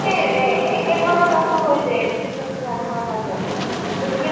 এহ একে ধৰণৰ কাপোৰ হৈ যায়, যথেষ্ট খিনিৰ মানুহৰ মাজত। গতিকে